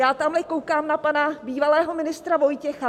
Já tamhle koukám na pana bývalého ministra Vojtěcha.